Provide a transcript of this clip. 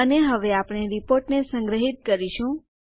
અને હવે આપણે રીપોર્ટને સંગ્રહિત કરીશું